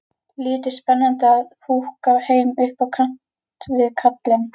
Lítið spennandi að húka heima upp á kant við kallinn.